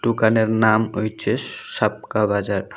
দুকানের নাম ওইচে সাবকা বাজার।